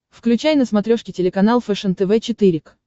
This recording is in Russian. включай на смотрешке телеканал фэшен тв четыре к